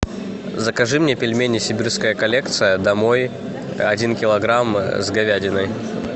закажи мне пельмени сибирская коллекция домой один килограмм с говядиной